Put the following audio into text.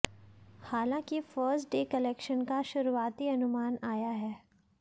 हालांकि first day collection का शुरुआती अनुमान आया है